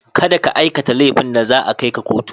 Kada ka aikata laifin da za a kai ka kotu.